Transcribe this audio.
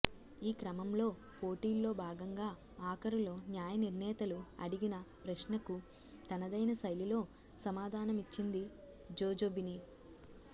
ఈక్రమంలో పోటీల్లో భాగంగా ఆఖరులో న్యాయనిర్ణేతలు అడిగిన ప్రశ్నకు తనదైన శైలిలో సమాధానమిచ్చింది జోజొబిని